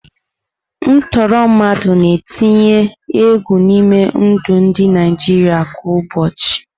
Ntọọrọ mmadụ na-etinye egwu n'ime ndụ ndị Naijiria kwa ụbọchị.